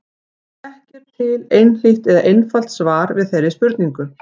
Ekki er til einhlítt eða einfalt svar við þeirri spurningu.